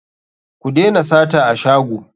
Ku dena sata a shago.